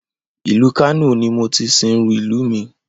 Ìlú Kano ni mo ti sìnrú ìlú mi